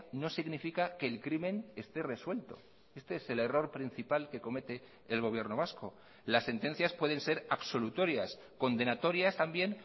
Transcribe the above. no significa que el crimen esté resuelto este es el error principal que comete el gobierno vasco las sentencias pueden ser absolutorias condenatorias también